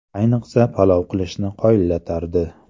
Ayniqsa, palov qilishni qoyillatardi.